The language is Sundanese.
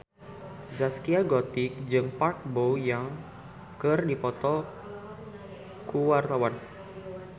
Zaskia Gotik jeung Park Bo Yung keur dipoto ku wartawan